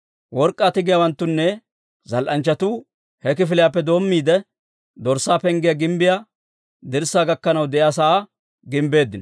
Work'k'aa tigiyaawanttunne zal"anchchatuu he kifiliyaappe doommiide, Dorssaa Penggiyaa gimbbiyaa dirssaa gakkanaw de'iyaa sa'aa gimbbeeddino.